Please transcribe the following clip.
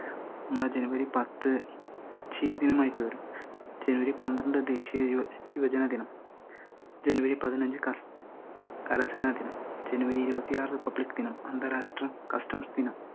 നമ്മളെ ജനുവരി പത്ത് ചിരിദിനമായിട്ട് വരും, ജനുവരി പത്രണ്ട് ദേശിയ യുവ ~ യുവജന ദിനം, ജനുവരി പതിനഞ്ചു കർ~ കരസേനാ ദിനം, ജനുവരി ഇരുപത്തിയാറ് റിപ്പബ്ലിക്, അന്താരാഷ്ട്ര കസ്റ്റംസ് ദിനം